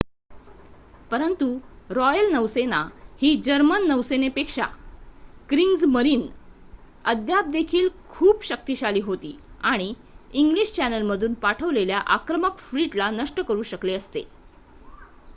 "परंतु रॉयल नौसेना ही जर्मन नौसेनेपेक्षा "क्रिग्जमरीन" अद्याप देखील खूप शक्तिशाली होती आणि इंग्लिश चॅनेलमधून पाठवलेल्या आक्रमक फ्लीटला नष्ट करू शकले असते.